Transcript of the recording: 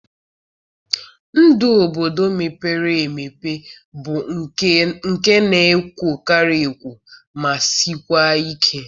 Ndụ obodo mepere emepe bụ nke na-ekwokarị ekwo ma sikwa ike.